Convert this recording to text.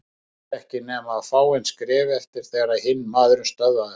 Hann átti ekki nema fáein skref eftir þegar hinn maðurinn stöðvaði hann.